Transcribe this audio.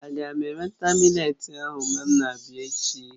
Aga m eweta mị́letí ahụ mgbe m na-abịa echi?